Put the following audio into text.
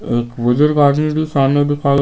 एक बुजुर्ग आदमी भी सामने दिखाई--